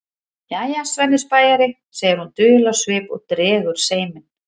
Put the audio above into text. Jæja, Svenni spæjari, segir hún dul á svip og dregur seiminn.